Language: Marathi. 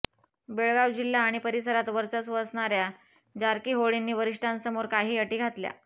बेळगाव जिल्हा आणि परिसरात वर्चस्व असणार्या जारकीहोळींनी वरिष्ठांसमोर काही अटी घातल्या